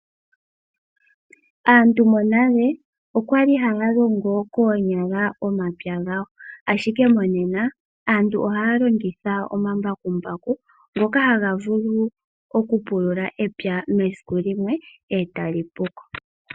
Aantu monale okwali haya longo koonyala, omapya gawo, ashike monena aantu ohaya longitha omambakumbaku, ngoka haga vulu okupulula epya mesiku limwe, e tali pu ko.